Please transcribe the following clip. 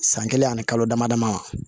San kelen ani kalo dama dama